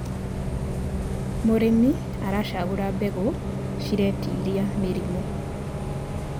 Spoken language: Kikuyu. mũrĩmi aracagura mbegũ ciretĩĩria mĩrimũ